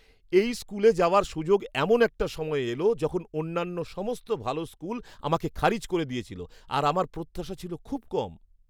এই স্কুলে যাওয়ার সুযোগ এমন একটা সময়ে এল যখন অন্যান্য সমস্ত ভাল স্কুল আমাকে খারিজ করে দিয়েছিল আর আমার প্রত্যাশা ছিল খুব কম।